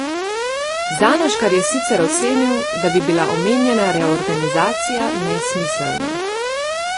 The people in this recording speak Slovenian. Zanoškar je sicer ocenil, da bi bila omenjena reorganizacija nesmiselna.